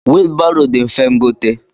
Wilu baro di mfe ngote.